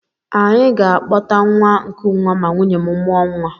Any ga-akpọta nwa nkụnwa ma nwunye m mụọ nwa